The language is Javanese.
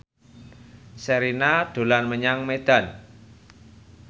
Sherina dolan menyang Medan